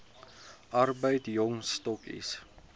arbeid jong stokkies